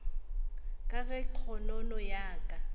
ka ge kgonono ya ka